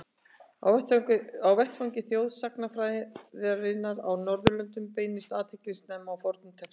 Á vettvangi þjóðsagnafræðinnar á Norðurlöndum beindist athyglin snemma að fornum textum.